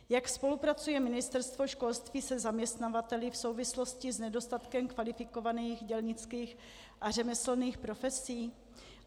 Jak spolupracuje Ministerstvo školství se zaměstnavateli v souvislosti s nedostatkem kvalifikovaných dělnických a řemeslných profesí?